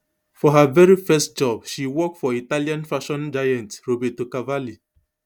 for her veri first job she walk for italian fashion giant roberto cavalli